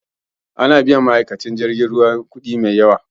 Ana biyan ma'aikatan jirgin ruwa kudi mai yawa.